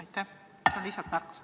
See oli lihtsalt märkus.